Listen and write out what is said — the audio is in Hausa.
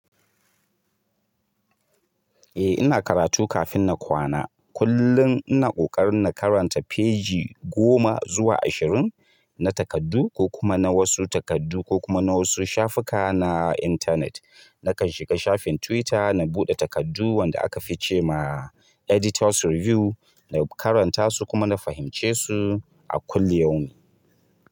Eh ina karatu kafin na kwana. Kullum ina ƙoƙarin na karanta feji goma zuwa ashirin na takardu ko kuma na wasu takardu ko kuma na wasu shafuka na intanet. Nakan shiga shafin Twitter na buɗe takardu wanda aka fi cema "Editor's Review" na karanta su kuma na fahimce su a kulli yamun.